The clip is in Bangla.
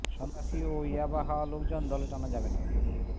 সন্ত্রাসী ও ইয়াবা খাওয়া লোকজন দলে টানা যাবে না